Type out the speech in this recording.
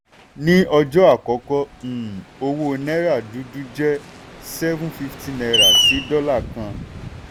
ní ọjọ́ àkọ́kọ́ um owó náírà dúdú jẹ́ seven fifty naira sí dọ́là kan.